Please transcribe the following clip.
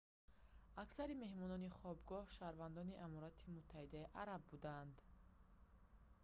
аксари меҳмонони хобгоҳ шаҳрвандони аморати муттаҳидаи араб буданд